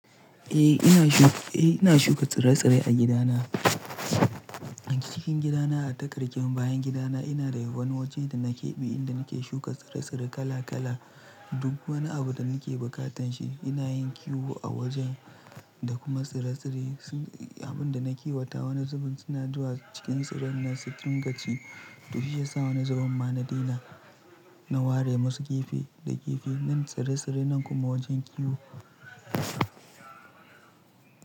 Eh ina shuka tsire-tsire a gidana. A cikin gidana a takarshen bayan gidana ina da wani wajen da nake bi inda nake shuka tsire-tsire kala kala. Duk wani abu da nake bukatan shi ina yin kiwo a wajen da kuma tsire-tsire. Abin da na kiwata, wani zubin suna zuwa cikin tsiren nan su dinga ci. To shi ya sa wani zubin ma na daina. Na ware masu gefe da gefe nan tsire-tsire nan kuma wajen kiwo.